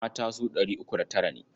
Mata su ɗari uku da tara ne.